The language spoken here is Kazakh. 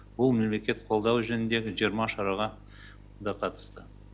бұл мемлекет қолдауы жөніндегі жиырма шараға да қатысты